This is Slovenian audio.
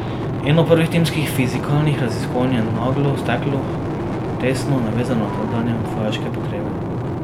Eno prvih timskih fizikalnih raziskovanj je naglo steklo, tesno navezano na tedanje vojaške potrebe.